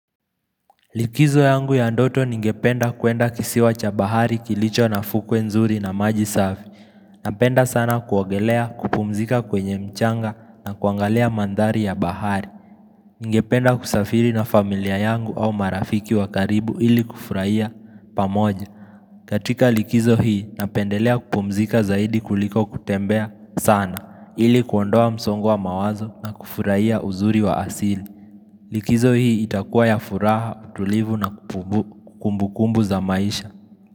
Likizo yangu ya ndoto ningependa kwenda kisiwa cha bahari kilicho na fukwe nzuri na maji safi. Napenda sana kuogelea, kupumzika kwenye mchanga na kuangalia mandhari ya bahari. Ningependa kusafiri na familia yangu au marafiki wa karibu ili kufurahia pamoja. Katika likizo hii, napendelea kupumzika zaidi kuliko kutembea sana. Ili kuondoa msongo wa mawazo na kufurahia uzuri wa asili likizo hii itakuwa ya furaha, tulivu na kumbukumbu za maisha.